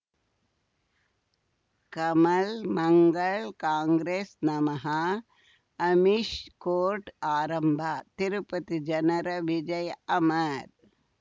Kamal Mangal Congress ನಮಃ Amish court ಆರಂಭ ತಿರುಪತಿ ಜನರ ವಿಜಯ ಅಮರ್